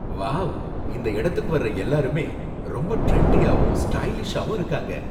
Wow! இந்த இடத்துக்கு வர்ற எல்லாருமே ரொம்ப டிரெண்டியாவும் ஸ்டைலிஷாவும் இருக்காங்க